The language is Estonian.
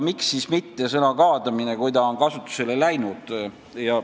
Miks mitte kasutada sõna "kaadamine", kui see on juba käibele läinud.